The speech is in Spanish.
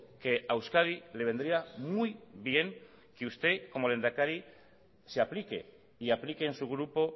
que a euskadi le vendría muy bien que usted como lehendakari se aplique y aplique en su grupo